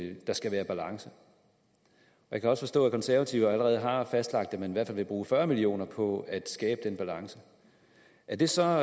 at der skal være balance jeg kan også forstå at de konservative allerede har fastlagt at man i hvert fald vil bruge fyrre million kroner på at skabe den balance er det så